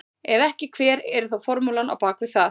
Ef ekki hver er þá formúlan á bak við það?